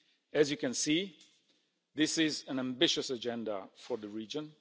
As you can see, this is an ambitious agenda for the region.